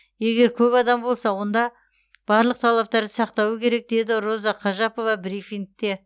егер көп адам болса онда барлық талаптарды сақтауы керек деді роза қажапова брифингте